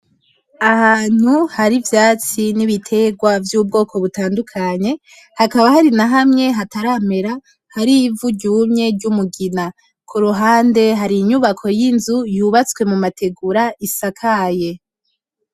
Ahantu hari ivyatsi nibiterwa vyubwoko butandukanye hakaba hari nahamwe hataramera hari ivu ryumye ryumugina kuruhande hari inyubako yinzu yubatswe mumategura isakaye .